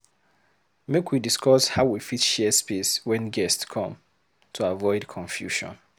Make we discuss how we fit share space wen guests come, to avoid confusion.